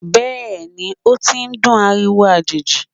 Bẹẹni, o ti n dún ariwo ajeji